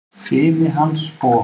Fimi hans og